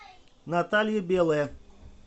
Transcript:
наталья белая